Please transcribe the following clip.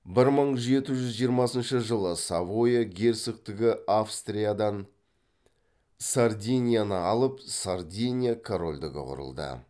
бір мың жеті жүз жиырмасыншы жылы савоя герцогтығы австриядан сардинияны алып сардиния корольдігі құрылды